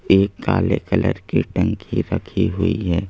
एक काले कलर की टंकी रखी हुई है।